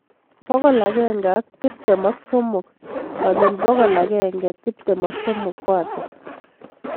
Bokol agenge ak tiptem ak somok konyil bokol agenge tiptem ak somok ko ata